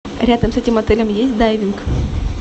рядом с этим отелем есть дайвинг